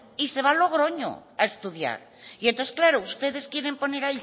y se va a logroño a estudiar y entonces claro ustedes quieren poner